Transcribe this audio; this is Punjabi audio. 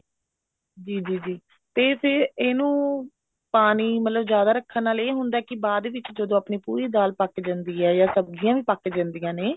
ਜੀ ਜੀ ਜੀ ਤੇ ਫ਼ੇਰ ਇਹਨੂੰ ਪਾਣੀ ਮਤਲਬ ਜਿਆਦਾ ਰੱਖਣ ਨਾਲ ਇਹ ਹੁੰਦਾ ਵੀ ਬਾਅਦ ਵਿੱਚ ਜਦੋਂ ਆਪਣੀ ਪੂਰੀ ਦਾਲ ਪੱਕ ਜਾਂਦੀ ਹੈ ਜਾਂ ਸਬਜੀਆਂ ਵੀ ਪੱਕ ਜਾਂਦੀਆਂ ਨੇ